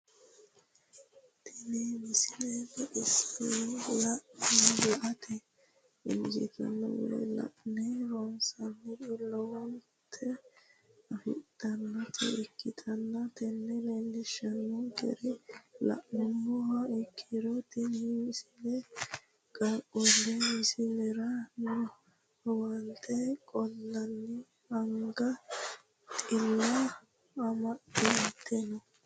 tenne misile baxisannonna la"ate injiitanno woy la'ne ronsannire lowote afidhinota ikkitanna tini leellishshannonkeri la'nummoha ikkiro tini misile qaaqquulle muliissirino amuwaati qoleno anga xila amaxxeno.